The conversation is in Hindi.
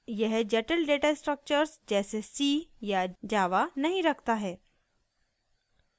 यह जटिल डेटा स्ट्रक्टर्स जैसे c या java नहीं रखता है